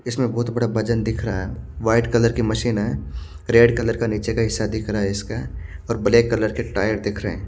इसमे बहुत बड़ा वजन दिख रहा हैं वाइट कलर की मशीन हैं रेड कलर का नीचे का हिस्सा दिख रहा हैं इसका और ब्लैक कलर के टायर दिख रहे हैं।